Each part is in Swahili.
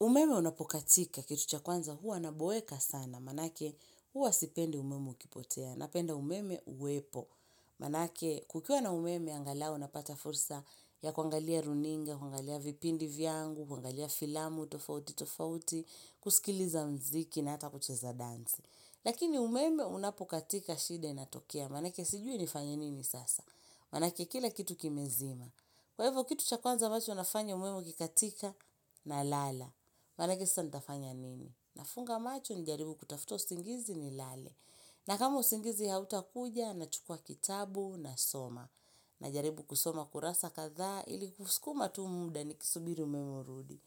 Umeme unapokatika, kitu chakwanza huwa anaboeka sana, manake huwa sipende umeme ukipotea, napenda umeme uwepo. Manake kukiuwa na umeme angala unapata fursa ya kuangalia runinga, kuangalia vipindi vyangu, kuangalia filamu, tofauti, tofauti, kusikiliza mziki na hata kuchesa danzi. Lakini umeme unapokatika shida na tokea, manake sijui ni fanyenini sasa, manake kila kitu kimezima. Kwa ivo kitu chakwanza machu unafanya umemu kikatika na lala. Manake kisa nitafanya nini? Na funga macho nijaribu kutafuta usingizi ni lale. Na kama usingizi hauta kuja na chukua kitabu na soma. Na jaribu kusoma kurasa katha ili kuskuma tu muda ni kisubiri umemurudi.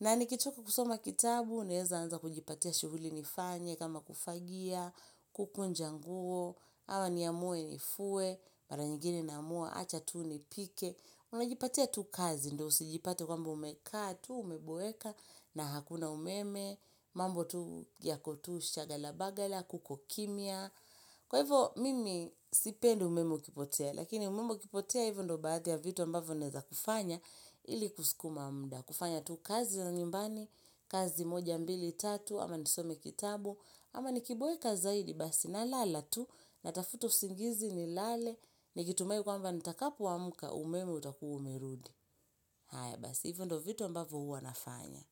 Na nikichoka kusoma kitabu uneza anza kujipatia shughuli nifanye kama kufagia, kukunjanguo, hawa niyamue nifue, baranyigini namua, achatuni pike. Unajipatea tu kazi, ndo usijipate kwambo umeka, tu umeboeka, na hakuna umeme, mambo tu giyakotu shagala bagala, kukokimia. Kwa hivyo, mimi sipeli umeme kipotea, lakini umeme kipotea hivyo ndo baati ya vitu ambavyo neza kufanya ili kusikuma mda. Kufanya tu kazi na nyumbani, kazi moja mbili tatu, ama nisome kitabu, ama nikiboeka zaidi basi na lala tu, na tafuto singizi ni lale ni gitumai kwamba nitakapo amka umeme utakua umirudi haya basi hivyo ndo vito mbavu huwa nafanya.